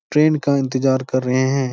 Train का इंतजार कर रहे हैं।